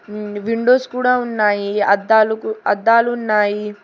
ఉం windows కూడా ఉన్నాయి అద్దాలు అద్దాలు ఉన్నాయి.